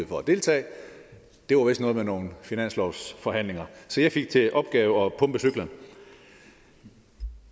for at deltage det var vist noget med nogle finanslovsforhandlinger så jeg fik til opgave at pumpe cyklen